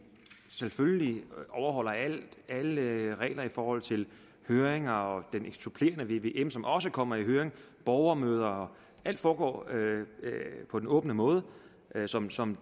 selvfølgelig overholder alle regler i forhold til høringer og den supplerende vvm som også kommer i høring og borgermøder alt foregår på den åbne måde som som